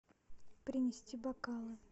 принести бокалы